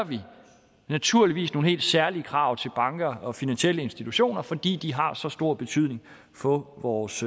naturligvis nogle helt særlige krav til banker og finansielle institutioner netop fordi de har så stor betydning for vores